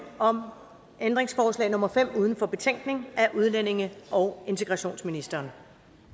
om ændringsforslag nummer fem uden for betænkningen af udlændinge og integrationsministeren